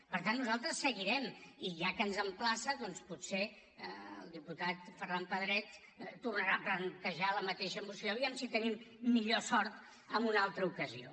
per tant nosaltres seguirem i ja que ens emplaça doncs potser el diputat ferran pedret tornarà a plantejar la mateixa moció a veure si tenim millor sort en una altra ocasió